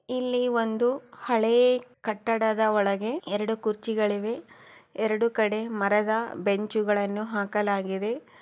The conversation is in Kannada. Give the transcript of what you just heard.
ಇಲ್ಲಿ ಒಂದು ಹಳೆಕಟ್ಟಡದ ಒಳಗೆ ಎರಡು ಕುರ್ಚಿಗಳಿವೆ ಎರಡು ಕಡೆ ಮರದ ಬೆಂಚುಗಳನ್ನು ಹಾಕಲಾಗಿದೆ.